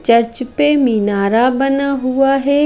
Church पे मीनारा बना हुआ है।